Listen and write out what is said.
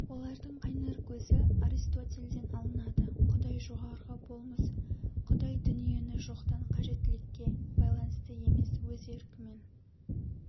олардың қайнар көзі аристотельден алынады құдай жоғарғы болмыс құдай дүниені жоқтан кажеттілікке байланысты емес өз еркімен